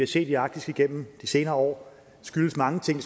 set i arktis igennem de senere år skyldes mange ting